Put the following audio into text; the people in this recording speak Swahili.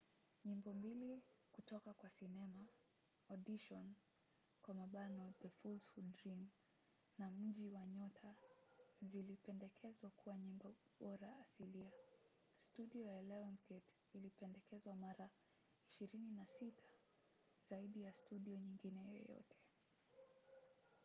nyimbo mbili kutoka kwa sinema audition the fools who dream na mji wa nyota zilipendekezwa kuwa nyimbo bora asilia. studio ya lionsgate ilipendekezwa mara 26 – zaidi ya studio nyingine yoyote